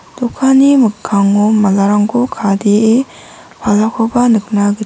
dokanni mikango malarangko kade·e palakoba nikna git....